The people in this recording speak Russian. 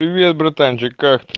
привет братанчик как ты